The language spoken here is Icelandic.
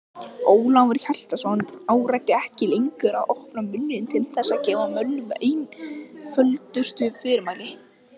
Ólafur Hjaltason áræddi ekki lengur að opna munninn til þess að gefa mönnum einföldustu fyrirmæli.